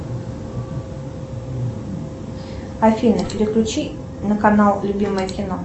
афина переключи на канал любимое кино